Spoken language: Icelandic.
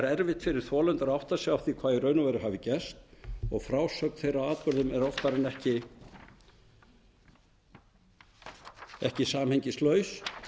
erfitt fyrir þolendur að átta sig á hvað í raun og veru hafi gerst og frásögn þeirra af atburðinum er oftar en ekki samhengislaus